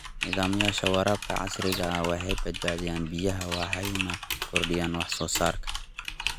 Nidaamyada waraabka casriga ah waxay badbaadiyaan biyaha waxayna kordhiyaan wax soo saarka.